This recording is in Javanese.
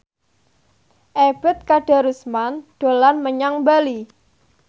Ebet Kadarusman dolan menyang Bali